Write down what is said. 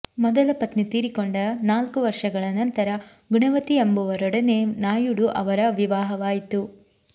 ಮೊದಲ ಪತ್ನಿ ತೀರಿಕೊಂಡ ನಾಲ್ಕು ವರ್ಷಗಳ ನಂತರ ಗುಣವತಿ ಎಂಬುವರೊಡನೆ ನಾಯುಡು ಅವರ ವಿವಾಹವಾಯಿತು